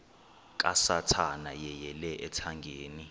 kasathana yeyele ethangeni